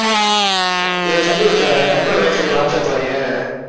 இதை தள்ளி விட்டுறாத டக்குனு ஒரே second வாட்ஸ்ஆப் போயேன்.